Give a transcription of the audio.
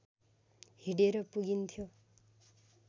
हिँडेर पुगिन्थ्यो